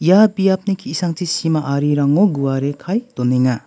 ia biapni ki·sangchi sima arirango guare kae donenga.